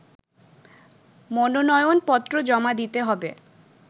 মনোনয়নপত্র জমা দিতে হবে